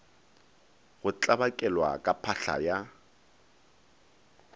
go tlabakelwa ka phahla ya